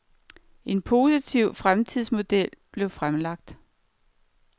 En positiv fremtidsmodel blev fremlagt.